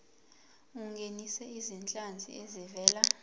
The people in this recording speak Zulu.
ungenise izinhlanzi ezivela